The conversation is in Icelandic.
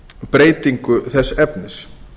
breytingu þess efnis